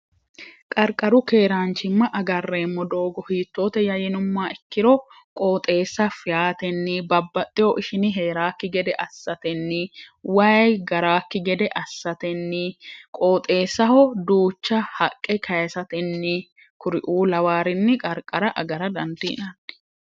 qarqaru keeraanchimma agarreemmo doogo hiittoote yayinumma ikkiro qooxeessa fiyaatenni babbaxxeho ishini heeraakki gede assatenni wayi garaakki gede assatenni qooxeessaho duucha haqqe kayisatenni kuriuu lawaarinni qarqara agara dandiinanni